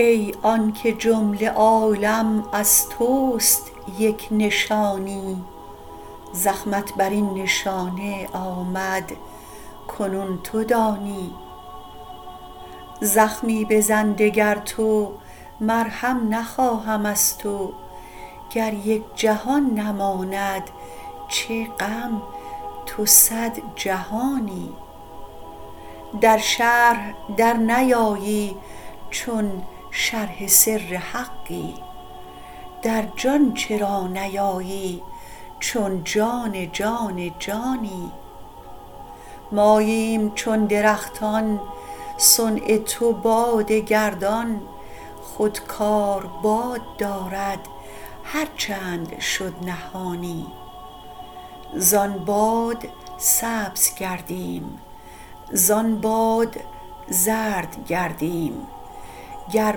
ای آنک جمله عالم از توست یک نشانی زخمت بر این نشانه آمد کنون تو دانی زخمی بزن دگر تو مرهم نخواهم از تو گر یک جهان نماند چه غم تو صد جهانی در شرح درنیایی چون شرح سر حقی در جان چرا نیایی چون جان جان جانی ماییم چون درختان صنع تو باد گردان خود کار باد دارد هر چند شد نهانی زان باد سبز گردیم زان باد زرد گردیم گر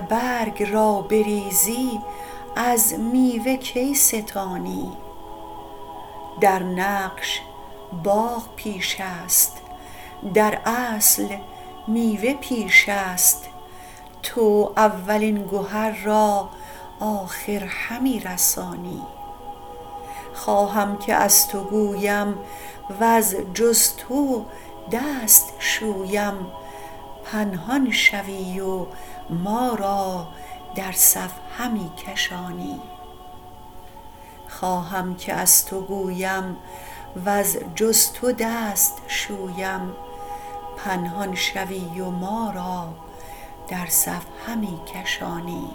برگ را بریزی از میوه کی ستانی در نقش باغ پیش است در اصل میوه پیش است تو اولین گهر را آخر همی رسانی خواهم که از تو گویم وز جز تو دست شویم پنهان شوی و ما را در صف همی کشانی